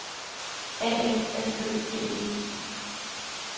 A N S Ø G E